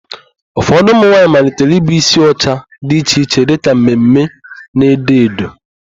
Ụfọdụ ụmụnwaanyị malitere ibu ísí ụcha dị iche iche dịka mme mme na edo edo.